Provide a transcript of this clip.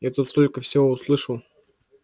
я тут столько всего слышал